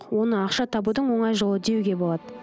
оны ақша табудың оңай жолы деуге болады